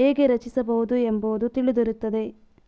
ಹೇಗೆ ರಚಿಸಬಹುದು ಎಂಬುದು ತಿಳಿದಿರುತ್ತದೆ